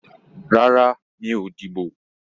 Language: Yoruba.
Rárá, mi ò dìbò